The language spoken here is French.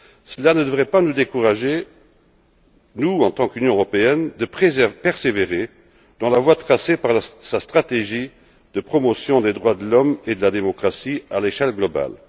Cela ne devrait pas nous décourager, nous en tant qu'Union européenne, de persévérer dans la voie tracée par sa stratégie de promotion des droits de l'homme et de la démocratie à l'échelle globale.